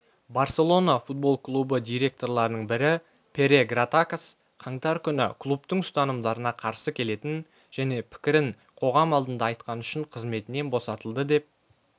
барселона футбол клубы директорларының біріпере гратакос қаңтар күні клубтың ұстанымдарына қарсы келетін жеке пікірін қоғам алдында айтқаны үшін қызметінен босатылды деп